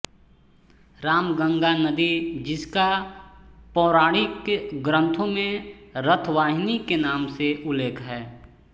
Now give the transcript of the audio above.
रामगंगा नदी जिसका पौराणिक ग्रन्थों में रथवाहिनी के नाम से उल्लेख है